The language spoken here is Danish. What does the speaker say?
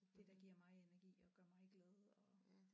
Det der giver mig energi og gør mig glad og